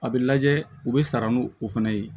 A bɛ lajɛ u bɛ sara n'u fana ye